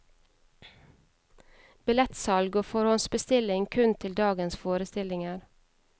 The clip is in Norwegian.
Billettsalg og forhåndsbestilling kun til dagens forestillinger.